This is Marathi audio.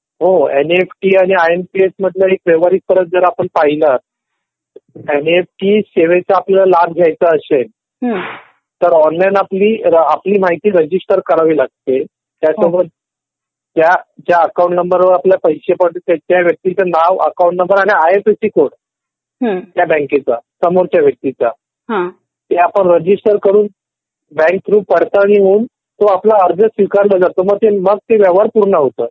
हो एन ई एफ टी आणि आय एम पी एस मधलं एक व्यवहारिक फरक जर आपण पाहिलं एनईएफटी सेवेचा आपलयाला लाभ घ्यायचा असेल. तर ऑनलाईन आपली माहिती रजिस्टर करावी लागते. त्याचावर तो आपल्याला अर्ज स्वीकारला जातो ममग ते व्यवहार पूर्ण होत.